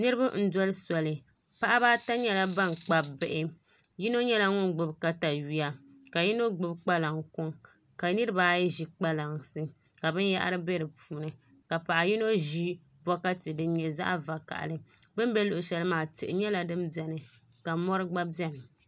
Niraba n doli soli paɣaba ata nyɛla ban kpabi bihi yino nyɛla ŋun gbubi katawiya ka yino gbubi kpalaŋ kuŋ ka niraba ayi ʒi kpalansi ka binyahari bɛ di puuni ka paɣa yino ʒi bokati din nyɛ zaɣ vakaɣali bi ni bɛ shɛli maa tihi nyɛla din biɛni ka mori gba biɛni